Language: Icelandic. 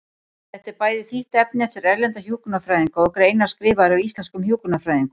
Þetta er bæði þýtt efni eftir erlenda hjúkrunarfræðinga og greinar skrifaðar af íslenskum hjúkrunarfræðingum.